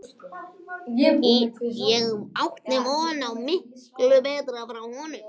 Ég átti von á miklu betra frá honum.